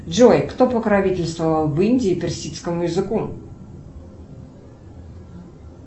джой кто покровительствовал в индии персидскому языку